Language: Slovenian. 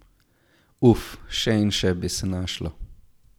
Uf, še in še bi se našlo.